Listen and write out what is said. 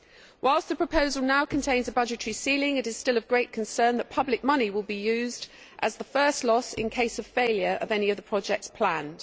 Whilst the proposal now contains a budgetary ceiling, it is still of great concern that public money will be used as the first loss in case of the failure of any other projects planned.